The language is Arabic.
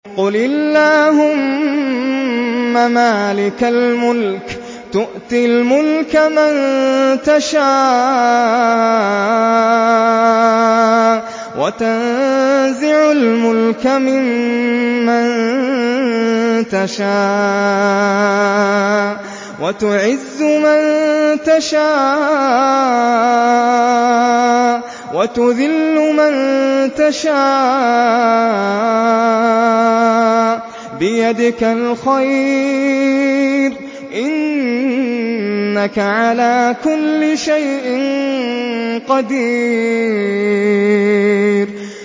قُلِ اللَّهُمَّ مَالِكَ الْمُلْكِ تُؤْتِي الْمُلْكَ مَن تَشَاءُ وَتَنزِعُ الْمُلْكَ مِمَّن تَشَاءُ وَتُعِزُّ مَن تَشَاءُ وَتُذِلُّ مَن تَشَاءُ ۖ بِيَدِكَ الْخَيْرُ ۖ إِنَّكَ عَلَىٰ كُلِّ شَيْءٍ قَدِيرٌ